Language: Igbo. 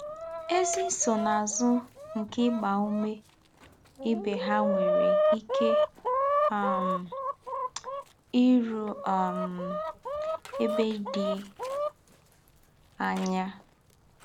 Ézí nsónà̄zù nké ígbá úmè íbé hà nwèrè íké um í rù̄ um ēbè dì̄ ányà